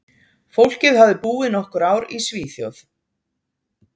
Fólkið hafði búið nokkur ár í Svíþjóð.